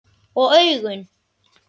Og augun?